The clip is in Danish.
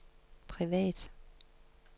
privat